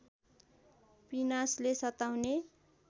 पिनासले सताउने